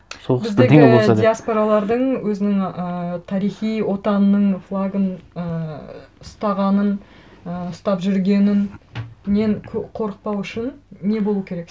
соғыс бірдеңе болса деп диаспоралардың өзінің ы тарихи отанының флагын ііі ұстағанын і ұстап жүргенінен қорықпау үшін не болу керек